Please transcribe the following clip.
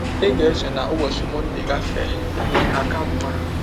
Ị ga - eche na ụbọchị Mọnde gafee, ihe aka mma.